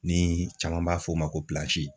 Ni caman b'a fɔ o ma ko